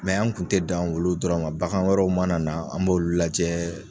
an kun tɛ dan olu dɔrɔn ma, bagan wɛrɛ mana na, an b'olu lajɛ